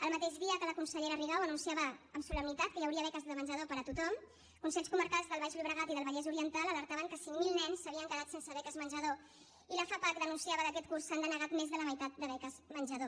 el mateix dia que la consellera rigau anunciava amb solemnitat que hi hauria beques de menjador per a tothom consells comarcals del baix llobregat i del vallès oriental alertaven que cinc mil nens s’havien quedat sense beques menjador i la fapac denunciava que aquest curs s’han denegat més de la meitat de beques menjador